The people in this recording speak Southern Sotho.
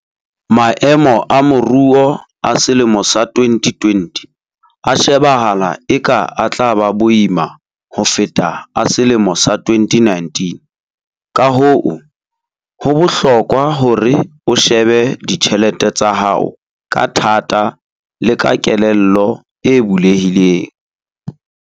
Maemo a moruo a selemo sa 2020 a shebahala eka a tla ba boima ho feta a selemo sa 2019, kahoo ho bohlokwa hore o shebe ditjhelete tsa hao ka thata le ka kelello e bulehileng.